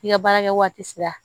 N'i ka baarakɛwagati sera